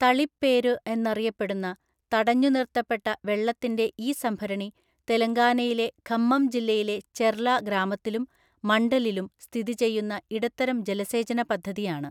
തളിപ്പേരു എന്നറിയപ്പെടുന്ന, തടഞ്ഞുനിർത്തപ്പെട്ട വെള്ളത്തിൻ്റെ ഈ സംഭരണി തെലങ്കാനയിലെ ഖമ്മം ജില്ലയിലെ ചെർല ഗ്രാമത്തിലും മണ്ഡലിലും സ്ഥിതി ചെയ്യുന്ന ഇടത്തരം ജലസേചനപദ്ധതിയാണ്.